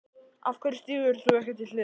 Af hverju stígur þú ekki til hliðar?